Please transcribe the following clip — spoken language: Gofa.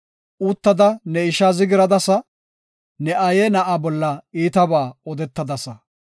Uttada ne ishaa zigiradasa; ne aaye na7aa bolla iitaba odetadasa.